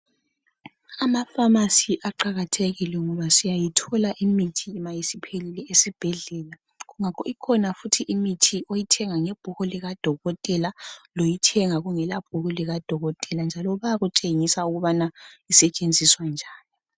Amafamasi aqakathekile ngoba siyayithola imithi noma isiphelile esibhedlela, ikhona imithi ethengwa ngebhuku lika dokotela, ikhona njalo eminye ethengwa ungela bhuku njalo bayakutshengisa ukuba isetshenziswa njani.